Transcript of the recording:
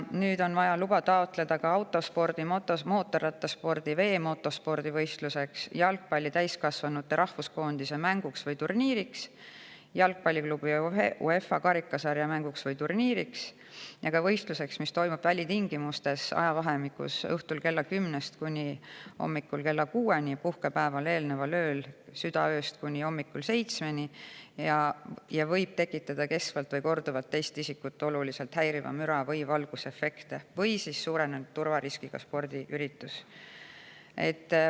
Nüüd on vaja luba taotleda ka autospordi-, motospordi- ja veemotospordivõistluseks; jalgpalli täiskasvanute rahvuskoondise mänguks või turniiriks, jalgpalliklubi UEFA karikasarja mänguks või turniiriks; ka võistluseks, mis toimub välitingimustes ajavahemikus õhtul kella kümnest kuni hommikul kella kuueni ja puhkepäevale eelneval ööl südaööst kuni hommikul seitsmeni ja võib tekitada kestvalt või korduvalt teist isikut oluliselt häirivat müra või valgusefekte, samuti suurenenud turvariskiga spordiürituseks.